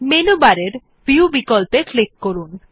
menu বারের view বিকল্পে click করুন